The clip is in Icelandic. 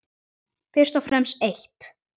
Fyrst og fremst eitt.